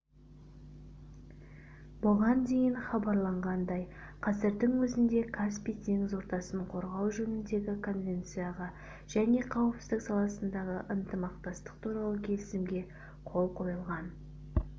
бұған дейін хабарланғандай қазірдің өзінде каспий теңіз ортасын қорғау жөніндегі конвенцияға және қауіпсіздік саласындағы ынтымақтастық туралы келісімге қол қойылған